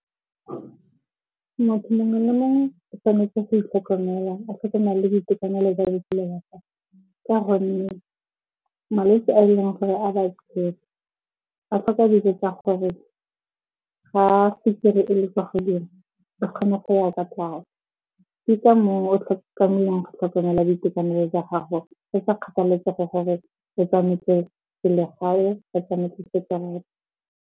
Motho mongwe le mongwe o tshwanetse go itlhokomela, a tlhokomele le boitekanelo jwa botshelo ba gagwe. Ka gonne malwetse a e leng gore a ba a ka dilo dilo tsa gore a se kry-e ele kwa godimo, ba kgone go ya kwa tlase. Ke ka moo o tlhoka melemo go tlhokomela boitekanelo jwa gago e sa kgathalesege gore e siametse selegae, e siametse .